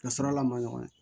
Ka sɔrɔla man ɲɔgɔn ye